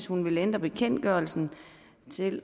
hun vil ændre bekendtgørelsen til